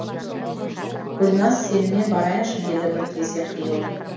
гүлназ сенімен барайыншы деді бір кезде қиылып